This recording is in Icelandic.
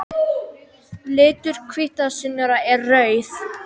Litur hvítasunnunnar er rauður.